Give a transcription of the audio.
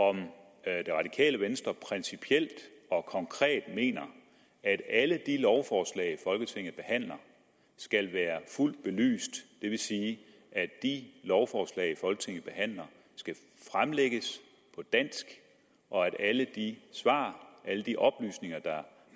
om det radikale venstre principielt og konkret mener at alle de lovforslag folketinget behandler skal være fuldt belyst det vil sige at de lovforslag folketinget behandler skal fremlægges på dansk og at alle de svar alle de oplysninger der